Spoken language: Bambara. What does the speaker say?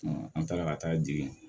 an taara ka taa di